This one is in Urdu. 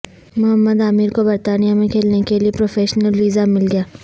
محمد عامر کو برطانیہ میں کھیلنے کےلئے پروفیشنل ویزہ مل گیا